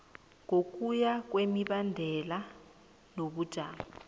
ngokuya kwemibandela nobujamo